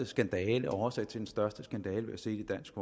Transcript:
skandale og årsag til den største skandale vi har set i dansk